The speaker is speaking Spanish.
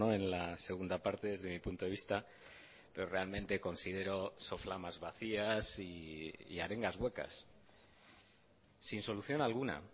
en la segunda parte desde mi punto de vista pero realmente considero soflamas vacías y arengas huecas sin solución alguna